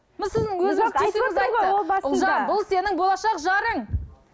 өзіңіз түйсігіңіз айтты ұлжан бұл сенің болашақ жарың